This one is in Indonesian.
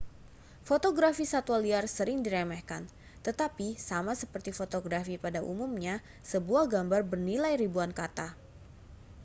fotografi satwa liar sering diremehkan tetapi sama seperti fotografi pada umumnya sebuah gambar bernilai ribuan kata